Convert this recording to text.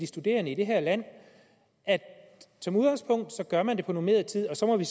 studerende i det her land som udgangspunkt gør man det på normeret tid og så må vi